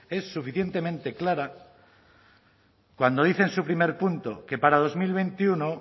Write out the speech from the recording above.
es suficientemente clara cuando dice en su primer punto que para dos mil veintiuno